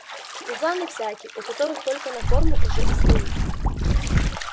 пузаны всякие у которых только на форму уже и стоит